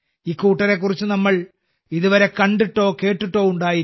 ഇക്കൂട്ടരെ കുറിച്ച് നമ്മൾ ഇതുവരെ കണ്ടിട്ടോ കേട്ടിട്ടോ ഉണ്ടായിരിക്കില്ല